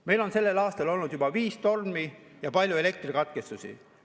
Meil on sellel aastal olnud juba viis tormi ja palju elektrikatkestusi.